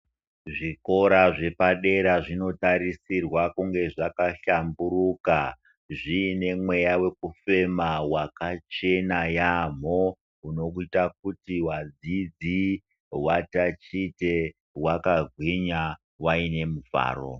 Zvikora zvepadera zvinotariswa kunge zvakahlamburuka zviine mweya wekufema wakachena yaamho unokuita kuti vadzidzi vatachite vakagwinya vaine mufaro.